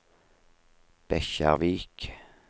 Bekkjarvik